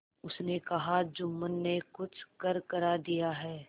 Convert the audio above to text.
उसने कहाजुम्मन ने कुछ करकरा दिया है